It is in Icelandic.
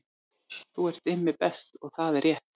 Þú ert Immi Best og það er rétt